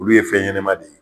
Olu ye fɛn ɲɛnama de ye.